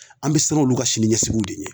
An be siran olu ka siniɲɛsigiw de ɲɛ